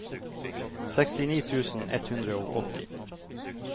sekstini tusen ett hundre og åtti